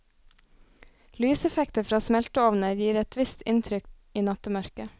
Lyseffekter fra smelteovner gir et visst inntrykk i nattemørket.